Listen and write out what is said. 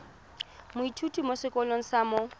moithuti mo sekolong sa mo